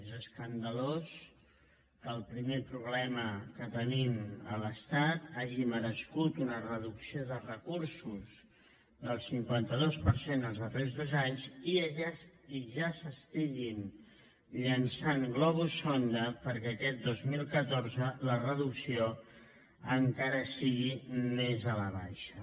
és escandalós que el primer problema que tenim a l’estat hagi merescut una reducció de recursos del cinquanta dos per cent els darrers dos anys i que ja es llancin globus sonda perquè aquest dos mil catorze la reducció encara sigui més a la baixa